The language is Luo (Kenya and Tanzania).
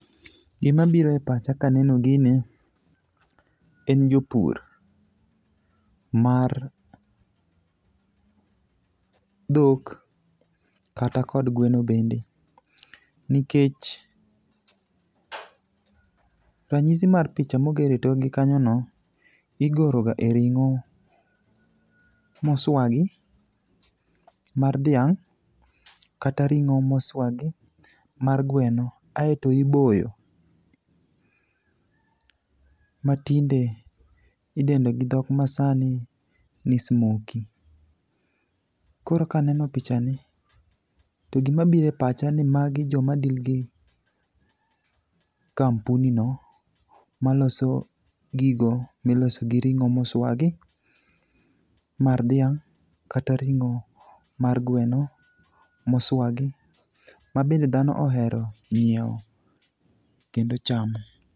Gimabiro e pacha kaneno gini en jopur, mar dhok kata kod gweno bende, nikech ranyisi mar picha mogor e tokgi kanyono, igoroga e ring'o moswagi mar dhiang' kata ring'o moswagi mar gweno aeto iboyo, matinde idendo gi dhok masani ni smokie. Koro kaneno pichani to gimabiro e pacha en ni magi joma deal gi kampuni no maloso gigo miloso gi ring'o moswagi mar dhiang' kata ring'o mar gweno moswagi mabende dhano ohero nyiewo kendo chamo.